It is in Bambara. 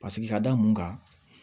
Paseke ka da mun kan